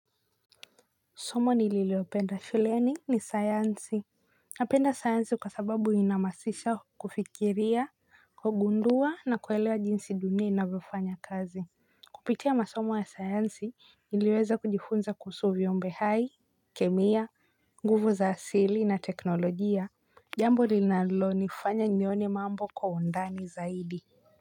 Somo nililopenda shuleni ni sayansi. Napenda sayansi kwa sababu ina hamasisha kufikiria kugundua na kuelewa jinsi dunia inavyofanya kazi. Kupitia masomo ya sayansi niliweza kujifunza kuhusu viumbe hai, kemia, nguvu za asili na teknolojia. Jambo linalonifanya nione mambo kwa undani zaidi.